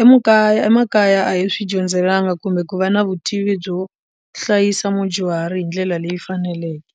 emakaya emakaya a hi swi dyondzelanga kumbe ku va na vutivi byo hlayisa mudyuhari hi ndlela leyi faneleke.